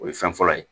O ye fɛn fɔlɔ ye